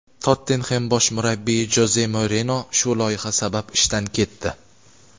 "Tottenxem" bosh murabbiyi Joze Mourino shu loyiha sabab ishdan ketdi.